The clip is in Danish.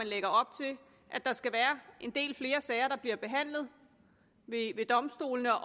lægger op til at der skal være en del flere sager der bliver behandlet ved domstolene